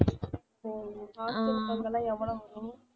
ஓ hostel க்கு அங்கெல்லாம் எவ்வளவு வரும்?